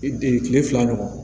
kile fila ɲɔgɔn ma